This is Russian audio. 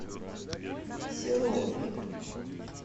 серове